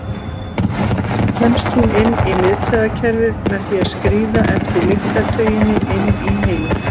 Þaðan kemst hún inn í miðtaugakerfið með því að skríða eftir lyktartauginni inn í heilann.